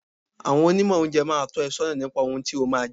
Àwọn Onímọ̀ oúnjẹ máa tọ́ ẹ sọ́nà nípa ohun tí o máa jẹ.